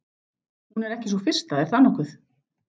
Hún er ekki sú fyrsta, er það nokkuð?